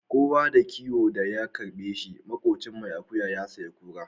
Kowa da kiwon da ya karbe shi makocin mai akuya ya sayi kura.